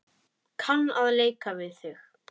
Kann að leika við þig.